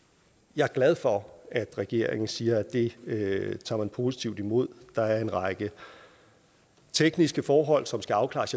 jeg er glad for at regeringen siger at det tager man positivt imod der er en række tekniske forhold som skal afklares